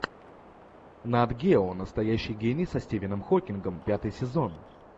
нат гео настоящий гений со стивеном хокингом пятый сезон